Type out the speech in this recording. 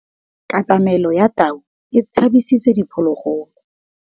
Katamêlô ya tau e tshabisitse diphôlôgôlô.